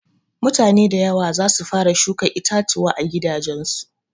Mutane da yawa zasu fara shuka itatuwa a gidajen su.